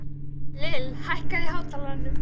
Lill, hækkaðu í hátalaranum.